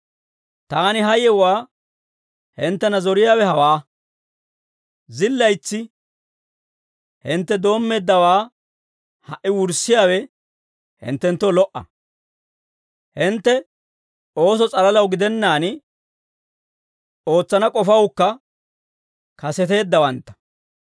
Taani ha yewuwaa hinttena zoriyaawe hawaa; zillaytsi hintte doommeeddawaa ha"i wurssiyaawe hinttenttoo lo"a; hintte ooso s'alalaw gidennaan, ootsana k'ofawukka kaseteeddawantta.